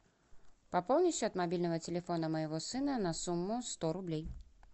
пополни счет мобильного телефона моего сына на сумму сто рублей